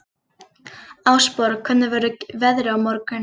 Ásborg, hvernig verður veðrið á morgun?